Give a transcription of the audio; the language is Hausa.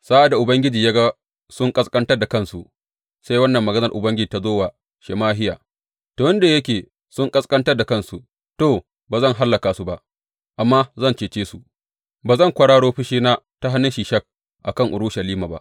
Sa’ad da Ubangiji ya ga sun ƙasƙantar da kansu, sai wannan maganar Ubangiji ta zo wa Shemahiya, Tun da yake sun ƙasƙantar da kansu, to, ba zan hallaka su ba, amma zan cece su, ba zan kwararo fushina ta hannun Shishak a kan Urushalima ba.